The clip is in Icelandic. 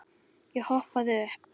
Ég hoppaði upp.